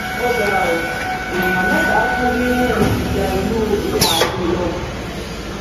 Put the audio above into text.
ó ga ọ èèyàn mẹta kú nínú nínú ìjà ìlú ifon àti ìlọbù